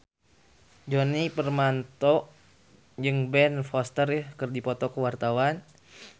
Djoni Permato jeung Ben Foster keur dipoto ku wartawan